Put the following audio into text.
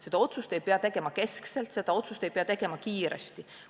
Seda otsust ei pea tegema keskselt, seda otsust ei pea tegema kiiresti.